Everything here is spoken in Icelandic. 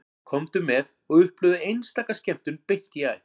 Komdu með og upplifðu einstaka skemmtun beint í æð